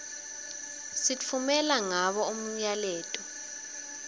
sitfumela ngabo umyaleto